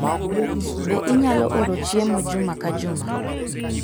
Be inyalo oro chiemo juma ka juma?